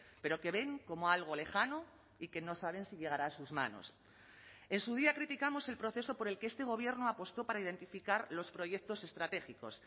pero que ven como algo lejano y que no saben si llegará a sus manos en su día criticamos el proceso por el que este gobierno apostó para identificar los proyectos estratégicos